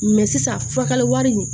sisan furakɛli wari